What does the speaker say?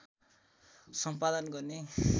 सम्पादन गर्ने